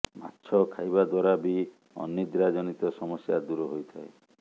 ମାଛ ଖାଇବା ଦ୍ୱାରା ବି ଅନିଦ୍ରାଜନିତ ସମସ୍ୟା ଦୂର ହୋଇଥାଏ